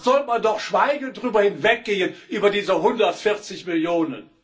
Da sollte man doch schweigend darüber hinweggehen, über diese 140 Millionen!